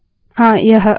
हाँ यह हुआ